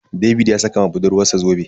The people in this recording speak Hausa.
David ya saka ma budurwarsa zobe.